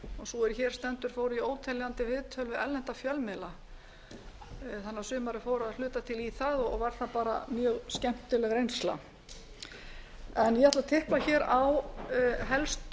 sú er hér stendur fór í óteljandi viðtöl við erlenda fjölmiðla þannig að sumarið fór að hluta til í það og var það bara mjög skemmtileg reynsla ég ætla að tipla hér á helstu